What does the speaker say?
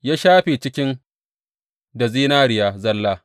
Ya shafe cikin da zinariya zalla.